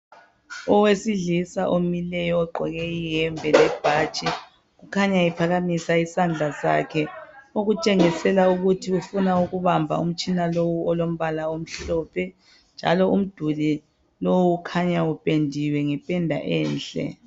Owesilisa omileyo ogqoke iyembe lebhatshi ukhanya ephakamisa isandla sakhe okutshengisela ukuthi ufuna ukuhamba umtshina lowu olombala omhlophe. Njalo umduli ukhanya upendiwe ngependa enhle.